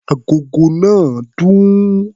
Agogo náà dún.